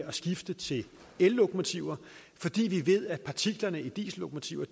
at skifte til ellokomotiver fordi vi ved at partiklerne i diesellokomotiver